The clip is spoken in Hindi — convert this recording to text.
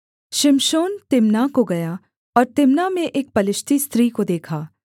शिमशोन तिम्नाह को गया और तिम्नाह में एक पलिश्ती स्त्री को देखा